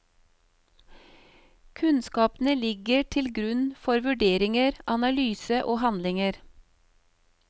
Kunnskapene ligger til grunn for vurderinger, analyse og handlinger.